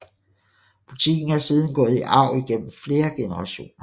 Butikken er siden gået i arv igennem flere generationer